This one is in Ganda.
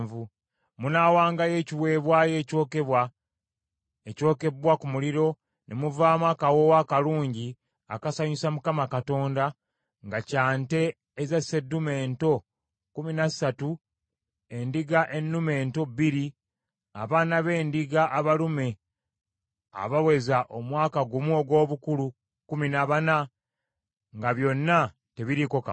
Munaawangayo ekiweebwayo ekyokebwa, ekyokebbwa ku muliro ne muvaamu akawoowo akalungi akasanyusa Mukama Katonda, nga kya nte eza sseddume ento kkumi na ssatu, endiga ennume ento bbiri, abaana b’endiga abalume abaweza omwaka gumu ogw’obukulu kkumi na bana; nga byonna tebiriiko kamogo.